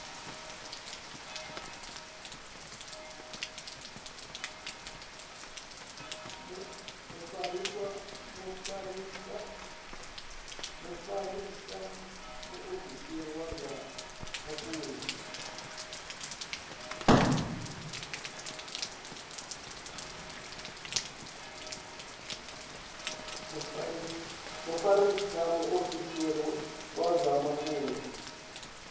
mufarisa muofisiri wa zwa mafhungo